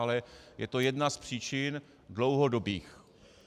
Ale je to jedna z příčin dlouhodobých.